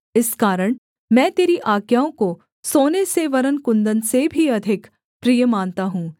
इस कारण मैं तेरी आज्ञाओं को सोने से वरन् कुन्दन से भी अधिक प्रिय मानता हूँ